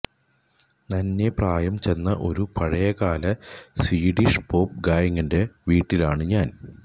നന്നേ പ്രായം ചെന്ന ഒരു പഴയകാല സ്വീഡിഷ് പോപ്പ് ഗായകന്റെ വീട്ടിലാണ് ഞാൻ